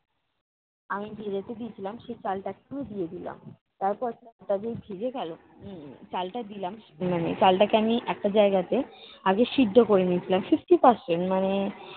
আমি ভেজাতে দিয়েছিলাম সেই চালটাকে আমি দিয়ে দিলাম। তারপর চালটা যেই ভিজে গেলো উহ চালটা দিলাম মানে চালটাকে আমি একটা জায়গাতে আগে সিদ্ধ করে নিয়েছিলাম fifty percent মানে